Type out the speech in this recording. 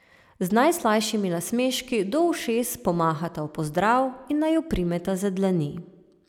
Z najslajšimi nasmeški do ušes pomahata v pozdrav in naju primeta za dlani.